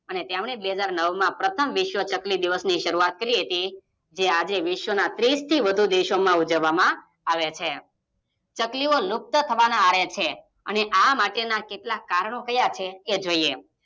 અને તેમને બે હાજર નવમાં પ્રથમ વિશ્વ ચકલી દિવસની સરુવાત કરી હતી. જે આજે ત્રીસથી વધુ દેશોમાં ઉજવામાં આવે છે. ચકલીઓ લુપ્ત થવાના આરે છે, અને આ માટેના કેટલાક કારણો કાયા છે એ જોયે.